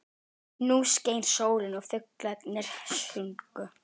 Nú skein sólin og fuglarnir sungu.